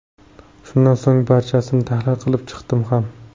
Shundan so‘ng barchasini tahlil qilib chiqdim ham.